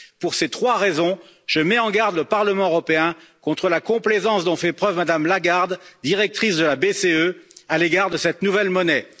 Pour ces trois raisons, je mets en garde le Parlement européen contre la complaisance dont fait preuve Mme Lagarde, directrice de la BCE, à l'égard de cette nouvelle monnaie.